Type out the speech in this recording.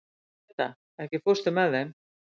Peta, ekki fórstu með þeim?